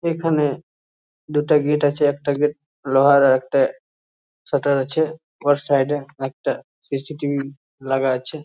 এখানে দুটো গেট আছে একটা গেট লোহার আর একটা সাটার আছে। ওর সাইড এ একটা সি.সি. টি.ভি. লাগা আছে।